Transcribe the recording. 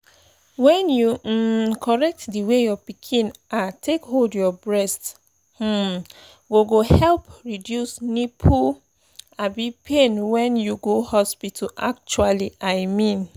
when you um correct the way your pikin ah take hold your breast um go go help reduce nipple um pain when you go hospital actually i mean